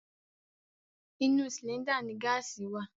Inú sìlíńdà ni gáàsì wà.